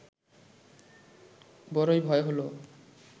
বড়ই ভয় হল